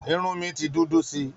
Irun mi ti dúdú sí i